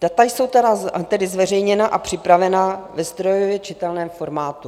Data jsou tedy zveřejněna a připravena ve strojově čitelném formátu.